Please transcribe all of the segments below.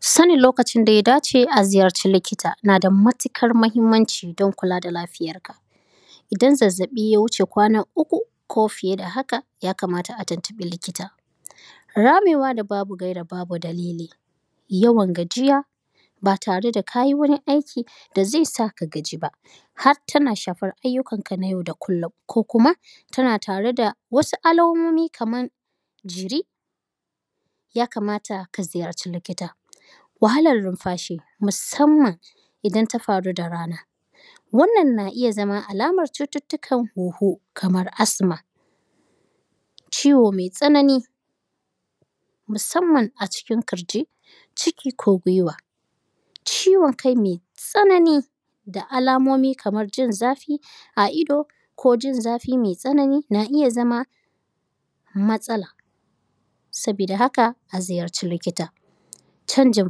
Sanin lokacin da ya dace a ziyarci likita na da matuƙar muhimmanci Idan zazzaɓi ya wuce kwana uku, ko fiye da haka, ya kamata a tuntuɓi likita. Ramewa da babu gaira babu dalili, yawan gajiya ba tare da ka yi wani aki da zai sa ka gaji ba, har tana shafar ayyukanka na yau da kullum ko kuma tana tare da wasu alamomi kamar jiri, ya kamata ka ziyarci likita. Wahalar numfashi musamman idan ta faru da rana, wannan na iya zama alamar cututtukan huhu kamar athma. Ciwo mai tsanani, musamman a cikin ƙirji, ciki ko gwiwa. Ciwon kai mai tsanani da alamomi kamar jin zafi a ido ko jin zafi mai tsanani na iya zama matsala. Sabida haka a ziyarci likita. Canjin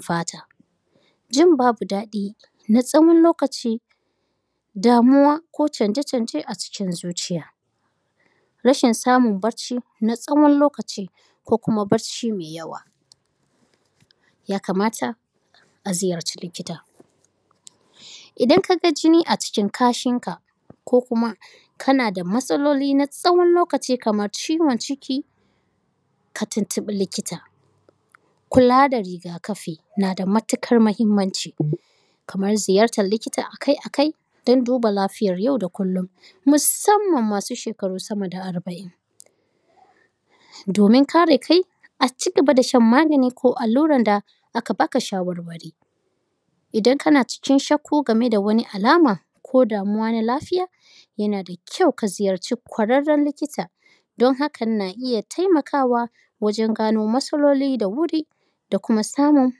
fata, jin babu daɗi na tsawon lokaci,, damuwa ko canje canje a cikin zuciya, rashin samun barci na tsawon lokaci ko kuma barci mai yawa, ya kamata a ziyarci likita. Idan ka ga jini a cikin kashinka, ko kuma kana da matsaloli na tsawon lokaci kamar ciwon ciki, ka tuntuɓi likita. Kula da riga-kafi na da matuƙar muhimmanci, kamar ziyartar likita a kai a kai don duba lafiyar yau da kullum, musamman masu shekaru sama da arba’in. domin kare kai, a ci gaba da shan magani ko alluran da aka ba ka shawarwari. Idan kana cikin shakku gami da wani alama, ko damuwa na lafiya, yana da kyau ka ziyarci ƙwararren likita don hakan na iya taimakawa wajen gano matsaloli da wuri da kuma samun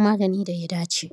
magani da ya dace.